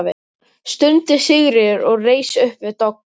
stundi Sigríður og reis upp við dogg.